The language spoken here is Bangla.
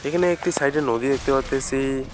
এখানে একটি সাইডে নদী দেখতে পারতেসি।